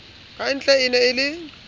kantle e ne e le